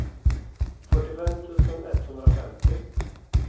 fyrtiofem tusen etthundrafemtio